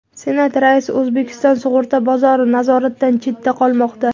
Senat raisi: O‘zbekiston sug‘urta bozori nazoratdan chetda qolmoqda.